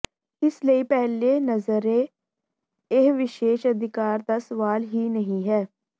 ਇਸ ਲਈ ਪਹਿਲੀ ਨਜ਼ਰੇ ਇਹ ਵਿਸ਼ੇਸ਼ ਅਧਿਕਾਰ ਦਾ ਸਵਾਲ ਹੀ ਨਹੀਂ ਹੈ